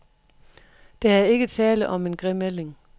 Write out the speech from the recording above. Der er ikke tale om en grim ælling.